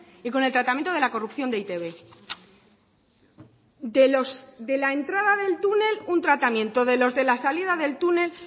y con el tratamiento de la corrupción de e i te be de la entrada del túnel un tratamiento de los de la salida del túnel